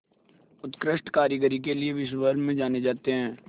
उत्कृष्ट कारीगरी के लिये विश्वभर में जाने जाते हैं